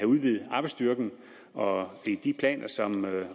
udvidet arbejdsstyrken og ved de planer som